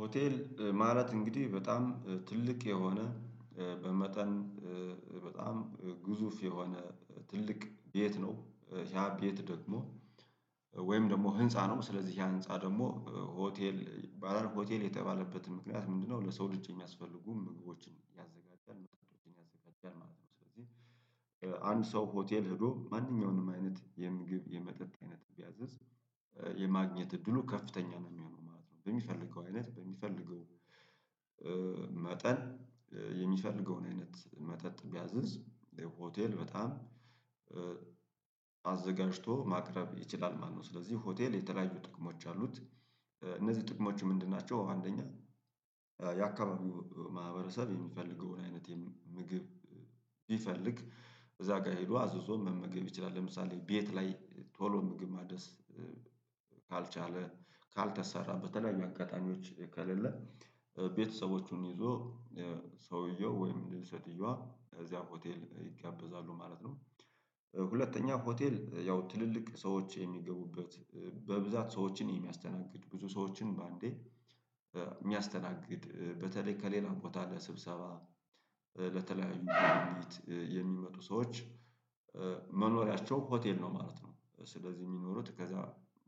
ሆቴል ማለት እንግዲህ በጣም ትልቅ የሆነ በመጠን በጣም ግዙፍ የሆነ ትልቅ ቤት ነው። ያ ቤት ደግሞ ወይም ደግሞ ህንፃ ነው ስለዚህ ያ ህንፃ ደግሞ ሆቴል ባለሆቴል የተባለበትን ምክንያት ምንድነው? ለሰው ልጅ የሚያስፈልጉ ምግቦችን ያዘጋጃል መጠጦችን ያዘጋጃል ማለት ነው። ስለዚህ አንድ ሰው ሆቴል ሄዶ ማንኛውንም አይነት የምንግብ የመጠጥ አይነት ቢያዝዝ የማግኘት እድሉ ከፍተኛ ነው የሚሆነው ማለት ነው። በሚፈልገው አይነት በሚፈልገው መጠን የሚፈልገውን አይነት መጠጥ ቢያዝዝ ሆቴል በጣም አዘጋጅቶ ማቅረብ ይችላል ማለት ነው። ስለዚህ ሆቴል የተለያዩ ጥቅሞች አሉት እነዚህ ጥቅሞች ምንድን ናቸው? አንደኛ የአካባቢው ማህበረሰብ የሚፈልገውን አይነት ምግብ ቢፈልግ እዛ ጋር ሄዶ አዘዞ መመገብ ይችላል ለምሳሌ ቤት ላይ ቶሎ ምግብ ማድረስ ካልቻለ ካልተሰራ በተለያዩ አጋጣሚዎች ከሌለ ቤተሰቦቹን ይዞ ሰውየው ወይም ሴቲዮዋ ከዚያ ሆቴል ይጋበዛሉ ማለት ነው። ሁለተኛ ሆቴል ያው ትልልቅ ሰዎች የሚገቡበት በብዛት ሰዎችን የሚያስተናግድ ብዙ ሰዎችን በአንዴ የሚያስተናግድ በተለይ ከሌላ ቦታ ለስብሰባ ለተለያዩ ጉብኝት የሚመጡ ሰዎች መኖሪያቸው ሆቴል ነው ማለት ነው። ስለዚህ የሚኖሩት ከዛ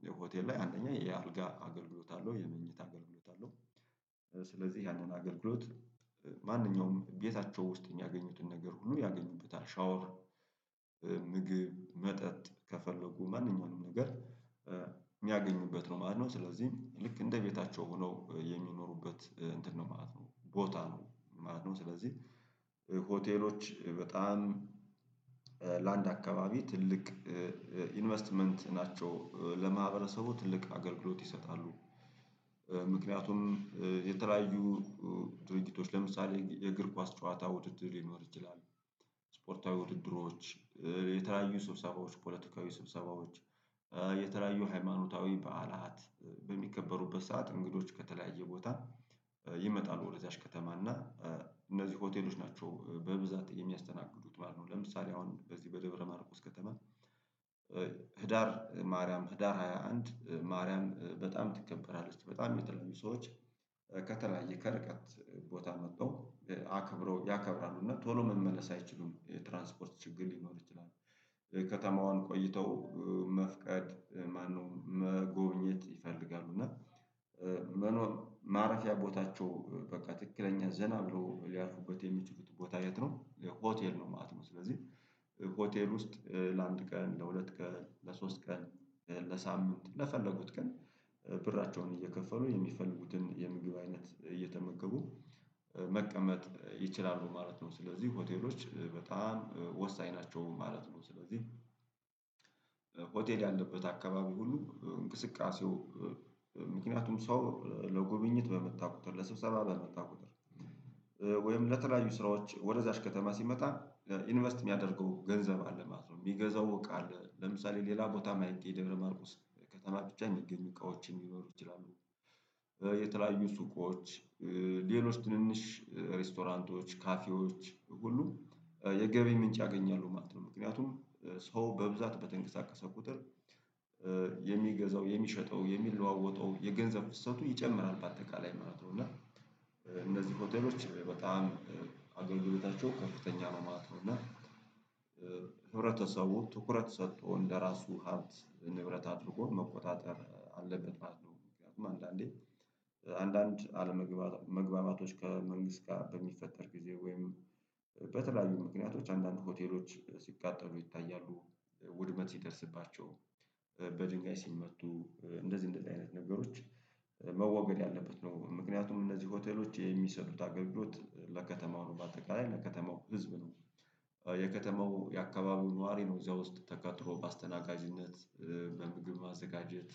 የሆቴል ላይ አንደኛ የአልጋ አገልግሎት አለው የመኝታ አገልግሎት አለው። ስለዚህ ያንን አገልግሎት ማንኛውም ቤታቸው ውስጥ የሚያገኙትን ነገር ሁሉ ያገኙበታል ሻወር ምግብ መጠጥ ከፈለጉ ማንኛውንም ነገር የሚያገኙበት ነው ማለት ነው። ስለዚህ ልክ እንደ ቤታቸው ሆነው የሚኖሩበት እንትን ነው ማለት ነው ቦታ ነው ማለት ነው። ስለዚህ ሆቴሎች በጣም ለአንድ አካባቢ ትልቅ ኢንቨስትመንት ናቸው ለማህበረሰቡ ትልቅ አገልግሎት ይሰጣሉ። ምክንያቱም የተለያዩ ድርጊቶች ለምሳሌ የእግር ኳስ ጨዋታ ውድድር ሊኖር ይችላል ስፖርታዊ ውድድሮች የተለያዩ ስብሰባዎች ፖለቲካዊ ስብሰባዎች የተለያዩ ሃይማኖታዊ በዓላት በሚከበሩበት ሰዓት እንግዶች ከተለያየ ቦታ ይመጣሉ ወደዚያች ከተማ እና እነዚህ ሆቴሎች ናቸው በብዛት የሚያስተናግዱት ማለት ነው። ለምሳሌ አሁን በዚህ በደብረ ማርቆስ ከተማ ህዳር ማርያም ህዳር ሃያ አንድ ማርያም በጣም ትከበራለች በጣም የምትለያዩ ሰዎች ከተለያየ ከርቀት ቦታ መጥተው አከብረው ያከብራሉ እና ቶሎ መመለስ አይችሉም ትራንስፖርት ችግር ሊኖር ይችላል። ከተማዋን ቆይተው መፍቀድ ማነው መጎብኘት ይፈልጋሉ እና መኖር ማረፊያ ቦታቸው በቃ ትክክለኛ ዘና ብሎ ሊያልፉበት የሚችሉት ቦታ የት ነው የሆቴል ነው ማለት ነው? ስለዚህ ሆቴል ውስጥ ለአንድ ቀን ለሁለት ቀን ለሶስት ቀን ለሳምንት ለፈለጉት ቀን ብራቸውን እየከፈሉ የሚፈልጉትን የምግብ አይነት እየተመከቡ መቀመጥ ይችላሉ ማለት ነው። ስለዚህ ሆቴሎች በጣም ወሳኝ ናቸው ማለት ነው። ስለዚህ ሆቴል ያለበት አካባቢው ሁሉ እንቅስቃሴው ምክንያቱም ሰው ለጉብኝት በመጣ ቁጥር ለሰብሰባ በመጣ ቁጥር ለተለያዩ ስራዎች ወደዛች ከተማ ሲመጣ ኢንቨስት የሚያደርገው ገንዘብ አለ ማለት ነው። የሚገዛው ቃል ለምሳሌ ሌላ ቦታም የማይገኝደብረማርኮስ ከተማ ብቻ የሚገኙ እቃዎችም ሊኖሩ ይችላሉ። የተለያዩ ሱቆች ሌሎች ትንንሽ ሬስቶራንቶች ካፌዎች ሁሉ የገቢ ምንጭ ያገኛሉ ማለት ነው። ምክንያቱም ሰው በብዛት በተንቀሳቀሰ ቁጥር የሚገዛው የሚሸጠው የሚለዋወጠው የገንዘብ ፍሰቱ ይጨምራል በአጠቃላይ ማለት ነው። እና እነዚህ ሆቴሎች በጣም አገልግሎታቸው ከፍተኛ ነው ማለት ነው። እና ህብረተሰቡ ትኩረት ሰጥቶ እንደራሱ ሀብት ንብረት አድርጎ መቆጣጠር አለበት ማለት ነው። ምክንያቱም አንዳንዴ አንዳንድ አለመግባባቶች ከመንግስት ጋር በሚፈጠር ጊዜ ወይም በተለያዩ ምክንያቶች አንዳንድ ሆቴሎች ሲቃጠሉ ይታያሉ ውድመት ሲደርስባቸው በድንጋይ ሲመቱ እንደዚህ እንደዚህ አይነት ነገሮች መወገድ ያለበት ነው ምክንያቱም እነዚህ ሆቴሎች የሚሰጡት አገልግሎት ለከተማው ነው በአጠቃላይ ለከተማው ህዝብ ነው። የከተማው የአካባቢው ነዋሪ ነው እዚያ ውስጥ ተቀጥሮ በአስተናጋጅነት በምግብ ማዘጋጀት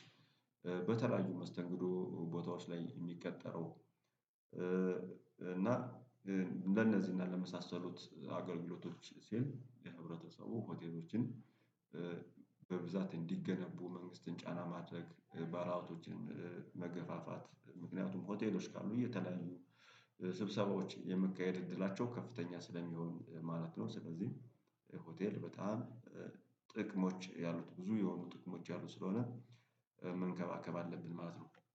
በተለያዩ መስተንግዶ ቦታዎች ላይ የሚቀጠረው እና እንደነዚህ እና ለመሳሰሉት አገልግሎት ሲል የህብረተሰቡ ሆቴሎችን በብዛት እንዲገነቡ መንግስትን ጫና ማድረግ ባለሀብቶችን መገፋፋት ምክንያቱም ሆቴሎች ካሉ እየተለያዩ ስብሰቦች የመካሄድ እድላቸው ከፍተኛ ስለሚሆን ማለት ነው። ስለዚህ ሆቴል በጣም ጥቅሞች ያሉት ብዙ የሆኑ ጥቅሞች ያሉት ስለሆነ መንከባከብ አለብን ማለት ነው